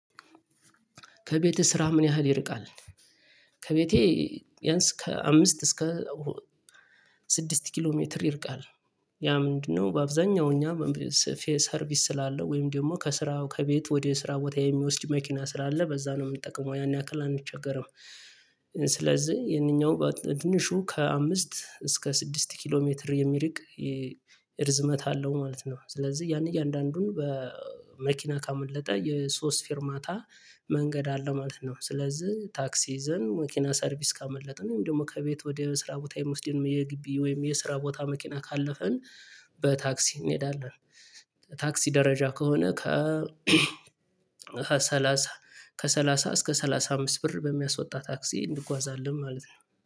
ከቤትህ ስራህ ምን ያህል ይርቃል? ከቤቴ ብያንስ ከአምስት እስከ ስድስት ኪሎ ሜትር ይርቃል። ያ ምንድነው በአብዛኛው እኛ ሰርቪስ ስላለው ወይም ደግሞ ከስራው ከቤት ወደ ስራ ቦታ የሚወስድ መኪና ስላለ በዛ ነው የምንጠቅመው ያን ያክል አንቸገርም። ስለዚህ የነኛው በትንሹ ከአምስት እስከ ስድስት ኪሎ ሜትር የሚርቅ፤ ርዝመት አለው ማለት ነው። ስለዚህ ያን እያንዳንዱን በመኪና ካመለጠ የሶስት ፊርማታ መንገድ አለው ማለት ነው። ስለዚህ ታክሲ ይዘን መኪና ሰርቪስ ካመለጠን ወይም ደግሞ ከቤት ወደ ስራ ቦታ የምወስደው የግቢ ወይም የስራ ቦታ መኪና ካለፈን በታክሲ እንሄዳለን። ታክሲ ደረጃ ከሆነ ከ ከሰላሳ እስከ ሰላሳ አምስት ብር በሚያስወጣ ታክሲ እንጓዛለን ማለት ነው።